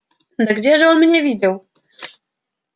да где же он меня видел